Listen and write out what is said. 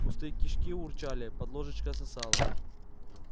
пустые кишки урчали под ложечкой сосало